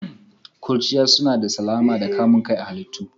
Ƙurchiya suna da salama da kamun kai a halitta.